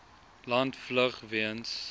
land vlug weens